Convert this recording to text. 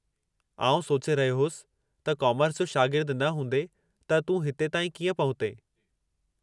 आउं सोचे रहियो होसि त कॉमर्स जो शागिर्दु न हूंदे त तूं हिते ताईं कीअं पहुतें?